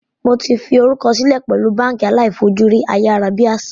Mó ti fi orúkọ silẹ pẹ̀lú báànkì aláì fojú rí ayárábiàsà